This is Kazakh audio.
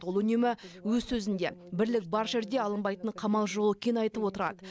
ол үнемі өз сөзінде бірлік бар жерде алынбайтын қамал жоқ екенін айтып отырады